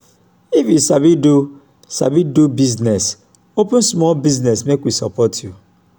if you sabi do sabi do business open small business make we support you